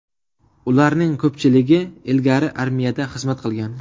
Ularning ko‘pchiligi ilgari armiyada xizmat qilgan.